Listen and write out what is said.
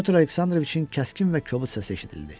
Pyotr Aleksandroviçin kəskin və kobud səsi eşidildi.